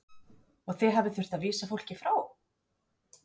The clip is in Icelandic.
Magnús Hlynur: Og þið hafið þurft að vísa fólki frá?